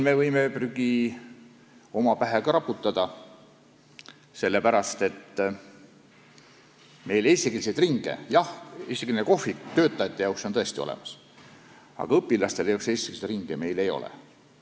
Me võime ka omale tuhka pähe raputada, sest jah, eestikeelne kohvik töötajate jaoks on meil tõesti olemas, aga õpilastele meil niisuguseid eestikeelseid ringe ei ole.